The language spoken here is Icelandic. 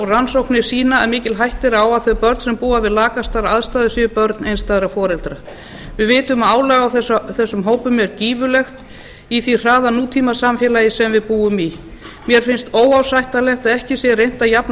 rannsóknir sýna að mikil hætta er á að þau börn sem búa við lakastar aðstæður séu börn einstæðra foreldra við vitum að álag á þessum hópum er gífurlegt í því hraða nútímasamfélagi sem við búum í mér finnst óásættanlegt að ekki sé reynt að jafna